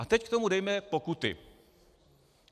A teď k tomu dejme pokuty.